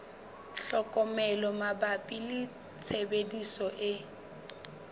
tlhokomelo mabapi le tshebediso e